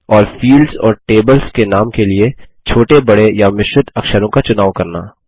और फील्ड्स और टेबल्स के नाम के लिए छोटे बड़े या मिश्रित अक्षरों का चुनाव करना